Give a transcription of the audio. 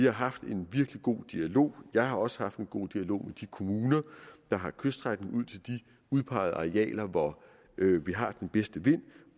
har haft en virkelig god dialog jeg har også haft en god dialog med de kommuner der har kyststrækning ud til de udpegede arealer hvor vi har den bedste vind